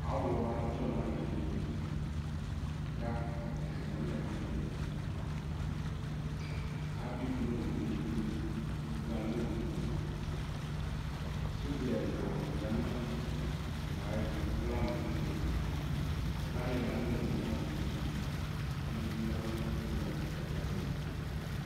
Aɣɔ adzɔ nʋ alɩ dɩ kʋ atanɩ anyama ɛkʋnɩ dʋ Adʋ ivu nʋ owu li kʋ ivu alɛ owu yɛ Sodza ɛla ya nʋ owu yɛ ayɛtʋ, alɛ alʋfue Ɛfʋa alɩla nʋ owu yɛ kʋ azɛ etu kʋ edigbo ya nʋ atamɩalɔ kʋ ɔta bɩ azɛ etu